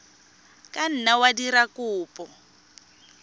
ka nna wa dira kopo